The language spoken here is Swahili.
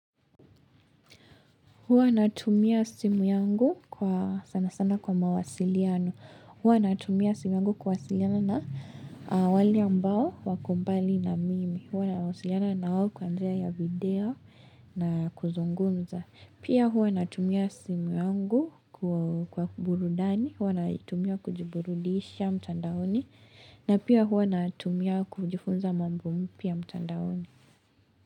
Huwa natumia simu yangu kwa sana sana kwa mawasiliano. Huwa natumia simu yangu kuwasiliana na wale ambao wako mbali na mimi. Huwa nawasiliana na wao kwa njia ya video na kuzungumza. Pia hua natumia simu yangu kwa burudani. Hua naitumia kujiburudisha mtandaoni. Na pia hua natumia kujifunza mambo mpya mtandaoni.